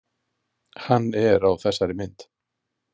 Hann er á þessari mynd.